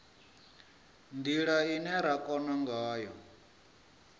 ndila ine ra kona ngayo